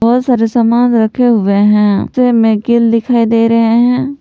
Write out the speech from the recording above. बहुत सारे सामान रखे हुए हैं नीचे में कील दिखाई दे रहे हैं।